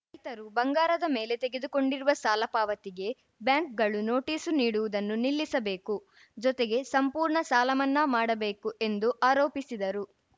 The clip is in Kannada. ರೈತರು ಬಂಗಾರದ ಮೇಲೆ ತೆಗೆದುಕೊಂಡಿರುವ ಸಾಲ ಪಾವತಿಗೆ ಬ್ಯಾಂಕ್‌ಗಳು ನೋಟಿಸ್‌ ನೀಡುವುದನ್ನು ನಿಲ್ಲಿಸಬೇಕು ಜೊತೆಗೆ ಸಂಪೂರ್ಣ ಸಾಲಮನ್ನಾ ಮಾಡಬೇಕು ಎಂದು ಆರೋಪಿಸಿದರು